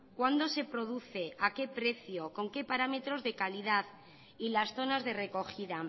cuándo se produce a qué precio con qué parámetros de calidad y las zonas de recogida